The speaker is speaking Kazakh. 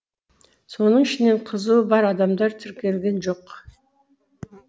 соның ішінен қызуы бар адамдар тіркелген жоқ